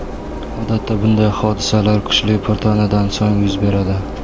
Odatda bunday hodisalar kuchli po‘rtanadan so‘ng yuz beradi.